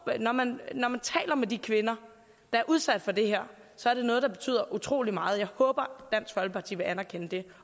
når man når man taler med de kvinder der er udsat for det her så er det noget der betyder utrolig meget jeg håber dansk folkeparti vil anerkende det